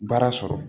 Baara sɔrɔ